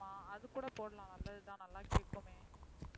ஆமாம் அது கூட போடலாம் நல்லதுதான் நல்லா கேட்குமே